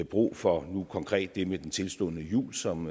brug for nu konkret det med den tilstundende jul som